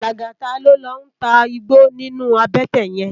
Lagata ló n tá igbó ninú àbètè yèn